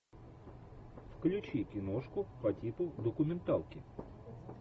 включи киношку по типу документалки